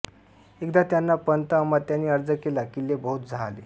एकदा त्यांना पंत अमात्यांनी अर्ज केला किल्ले बहुत जाहले